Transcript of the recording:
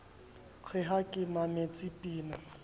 re ha ke mametse pina